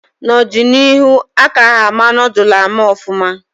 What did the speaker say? N'ọdịnihu a ka ha ama noodul ama ọfụma